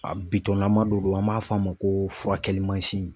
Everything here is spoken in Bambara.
A don an b'a f'a ma ko furakɛli mansinin.